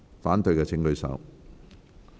反對的請舉手。